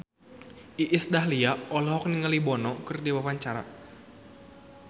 Iis Dahlia olohok ningali Bono keur diwawancara